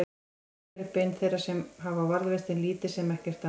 steingerð bein þeirra hafa varðveist en lítið sem ekkert annað